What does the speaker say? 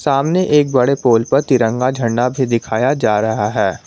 सामने एक बड़े पोल पर तिरंगा झंडा भी दिखाया जा रहा है।